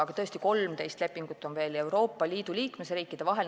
Aga tõesti, 13 lepingut on veel Euroopa Liidu liikmesriikide vahel.